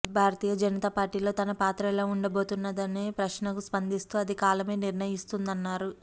భారతీయ జనతాపార్టీలో తన పాత్ర ఎలా ఉండబోతున్నదనే ప్రశ్నకు స్పందిస్తూ అది కాలమే నిర్ణయిస్తుందన్నారు